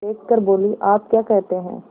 देख कर बोलीआप क्या कहते हैं